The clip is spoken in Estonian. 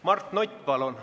Mart Nutt, palun!